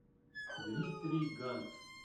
дмитрий ганц